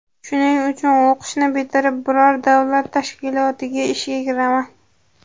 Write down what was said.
Shuning uchun o‘qishni bitirib, biror davlat tashkilotiga ishga kiraman.